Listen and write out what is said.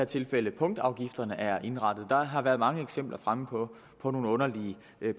tilfælde punktafgifterne er indrettet der har været mange eksempler fremme på på nogle underlige